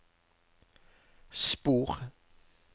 spor